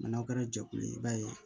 n'aw kɛra jɛkulu ye i b'a ye